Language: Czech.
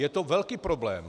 Je to velký problém.